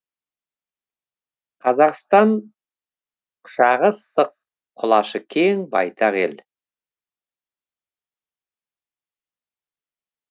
қазақстан құшағы ыстық құлашы кең байтақ ел